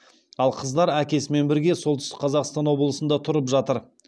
ал қыздар әкесімен бірге солтүстік қазақстан облысында тұрып жатыр